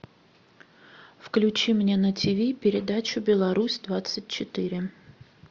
включи мне на тв передачу беларусь двадцать четыре